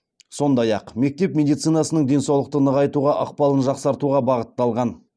сондай ақ мектеп медицинасының денсаулықты нығайтуға ықпалын жақсартуға бағытталған